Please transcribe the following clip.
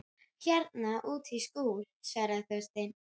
Hérna úti í skúr- svaraði Þorsteinn.